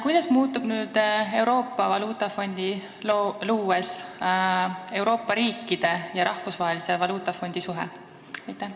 Kuidas muutub nüüd, kui luuakse Euroopa valuutafondi, Euroopa riikide ja Rahvusvahelise Valuutafondi suhe?